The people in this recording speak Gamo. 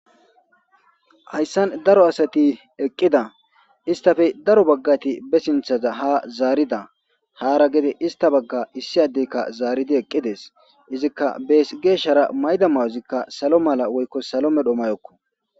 Haysan Daro Asati Eqida Izetika Ba sintha ha Zarida Hara Gede Izeta Baga Issi Adezika Simidi Eqides Izika Bes Geshara Mayida Mayozika Salo medho Woyko Salo mela Mayoko